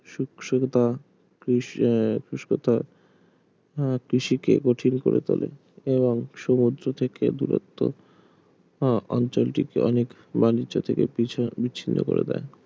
সুখ সুখতা আহ শুষ্কতা হ্যাঁ কৃষিকে কঠিন করে তোলে এবং সমুদ্র থেকে দূরত্ব আহ অঞ্চলটিকে অনেক বাণিজ্য থেকে ~ বিচ্ছিন্ন করে দেয়